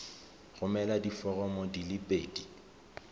romela diforomo di le pedi